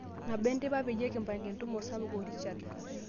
nabo enteipa peyie kipanga entumo osapuk Richard